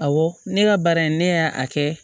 Awɔ ne ka baara in ne y'a kɛ